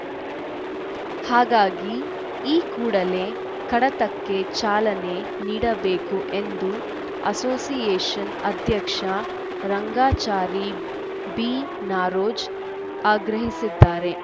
ಹಾಗಾಗಿ ಈ ಕೂಡಲೇ ಕಡತಕ್ಕೆ ಚಾಲನೆ ನೀಡಬೇಕು ಎಂದು ಅಸೋಸಿಯೇಷನ್‌ ಅಧ್ಯಕ್ಷ ರಂಗಾಚಾರಿ ಬಿನಾರೋಜ್‌ ಆಗ್ರಹಿಸಿದ್ದಾರೆ